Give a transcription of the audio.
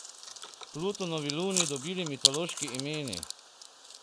Plutonovi luni dobili mitološki imeni.